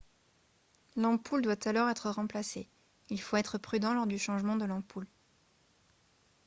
l'ampoule doit alors être remplacée il faut être prudent lors du changement de l'ampoule